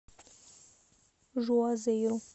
жуазейру